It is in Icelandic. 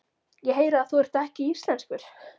Ég heyri að þú ert ekki íslenskur.